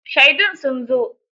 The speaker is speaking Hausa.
Shaidun sun zo